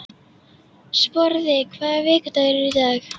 Sporði, hvaða vikudagur er í dag?